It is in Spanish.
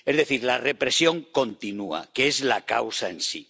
Es decir, la represión continúa, que es la causa en sí.